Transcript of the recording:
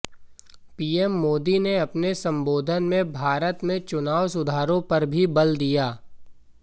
PM Modi ने अपने संबोधन में भारत में चुनाव सुधारों पर भी बल दिया